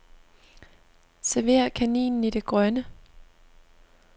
Server kaninen i det grønne.